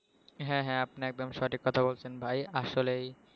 হ্যাঁ হ্যাঁ আপনি একদম সঠিক কথা বলছেন ভাই আসলেই